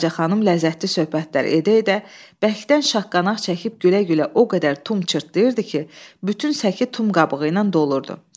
Balaçaxanım ləzzətli söhbətlər edə-edə bərkdən şaqqanaq çəkib gülə-gülə o qədər tum çırtdayırdı ki, bütün səki tum qabığı ilə dolurdu.